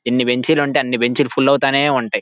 ఎన్ని బెంచి లు ఉంటే అన్ని బెంచి లు ఫుల్ అవుతూనే ఉంటాయ్.